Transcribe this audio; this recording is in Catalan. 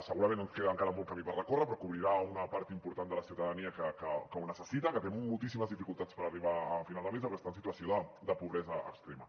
segurament ens queda encara molt de camí per recórrer però cobrirà una part important de la ciutadania que ho necessita que té moltíssimes dificultats per arribar a final de mes o que està en situació de pobresa extrema